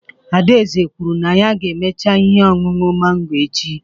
Adaeze kwuru na ya ga-emecha ihe ọṅụṅụ mango echi